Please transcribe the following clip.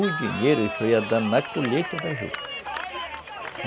O dinheiro, isso ia dando na colheita da juta.